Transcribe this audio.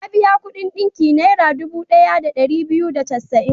Ya biya kuɗin ɗinki Naira dubu ɗaya da ɗari biyu da casa'in.